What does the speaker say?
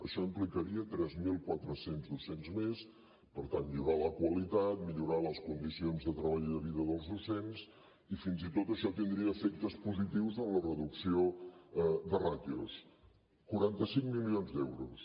això implicaria tres mil quatre cents docents més per tant millorar la qualitat millorar les condicions de treball i de vida dels docents i fins i tot això tindria efectes positius en la reducció de ràtios quaranta cinc milions d’euros